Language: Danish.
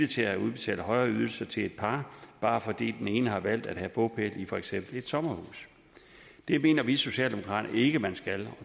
til at udbetale højere ydelser til et par bare fordi den ene har valgt at have bopæl i for eksempel et sommerhus det mener vi socialdemokrater ikke man skal